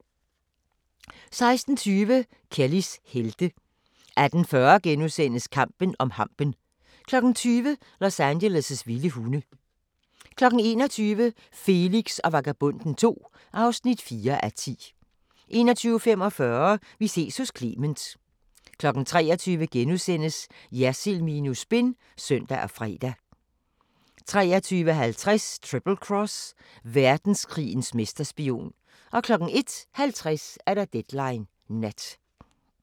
16:20: Kellys helte 18:40: Kampen om hampen * 20:00: Los Angeles' vilde hunde 21:00: Felix og Vagabonden II (4:10) 21:45: Vi ses hos Clement 23:00: Jersild minus spin *(søn og fre) 23:50: Triple Cross – verdenskrigens mesterspion 01:50: Deadline Nat